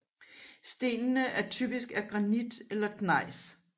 Stenene er typisk af granit eller gnejs